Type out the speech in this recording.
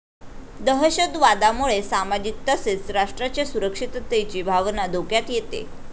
दहशतवादामुळे सामाजिक तसेच राष्ट्राच्या सुरक्षिततेची भावना धोक्यात येते.